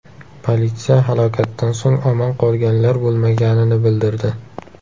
Politsiya halokatdan so‘ng omon qolganlar bo‘lmaganini bildirdi.